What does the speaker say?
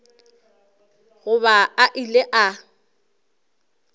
go ba a ile a